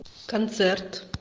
концерт